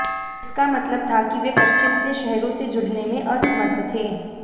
इसका मतलब था कि वे पश्चिम से शहरों से जुड़ने में असमर्थ थे